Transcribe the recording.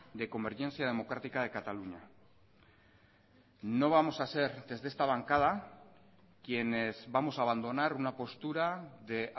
de convergencia democrática de cataluña no vamos a ser desde esta bancada quienes vamos a abandonar una postura de